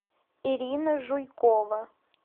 ирина жуйкова